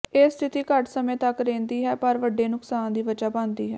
ਇਹ ਸਥਿਤੀ ਘੱਟ ਸਮੇਂ ਤਕ ਰਹਿੰਦੀ ਹੈ ਪਰ ਵੱਡੇ ਨੁਕਸਾਨ ਦੀ ਵਜ੍ਹਾ ਬਣਦੀ ਹੈ